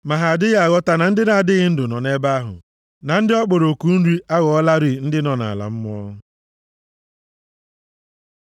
Ma ha adịghị aghọta na ndị nʼadịghị ndụ nọ nʼebe ahụ, na ndị ọ kpọrọ oku nri aghọọlarị ndị nọ nʼala mmụọ.